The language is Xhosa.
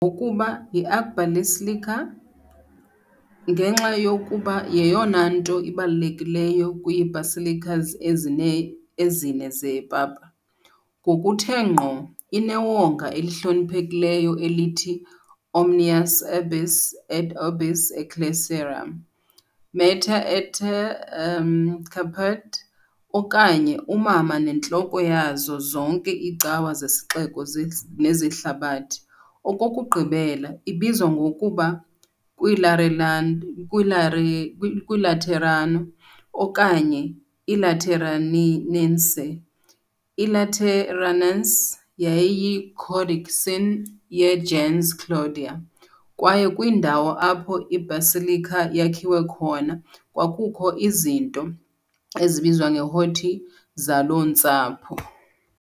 ngokuba yi "archbasilica" ngenxa yokuba yeyona nto ibalulekileyo kwii-basilicas ezine zepapa, ngokuthe ngqo, inewonga elihloniphekileyo elithi "Omnium Urbis et Orbis Ecclesiarum Mater et Caput", okanye uMama neNtloko yazo zonke iiCawa zeSixeko nezeHlabathi .Okokugqibela, ibizwa ngokuba kwalirelan, kwilare "kwiLaterano", okanye "lateranense", "I-Lateranus" yayiyi- "codicin" ye- "gens Claudia", kwaye kwindawo apho i-basilica yakhiwe khona kwakukho izinto ezibizwa neg-, "horti", zaloo ntsapho.